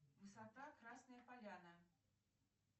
высота красная поляна